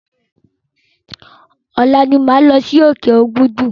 Ọ̀la ni máa lọ sí òkè Òbùdù.